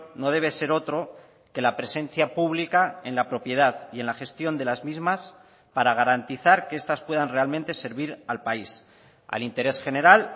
no debe ser otro que la presencia pública en la propiedad y en la gestión de las mismas para garantizar que estas puedan realmente servir al país al interés general